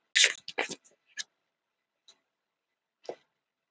Jesús segir mér að ég eigi í honum vin sem aldrei bregst.